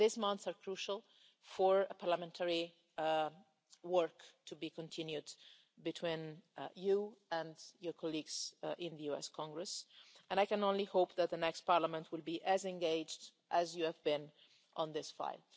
These months are crucial for parliamentary work to be continued between you and your colleagues in the US Congress, and I can only hope that the next Parliament will be as engaged as you have been in this fight.